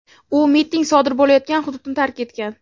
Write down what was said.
u miting sodir bo‘layotgan hududni tark etgan.